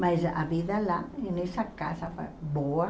Mas a vida lá, nessa casa, foi boa.